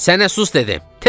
"Sənə sus dedim!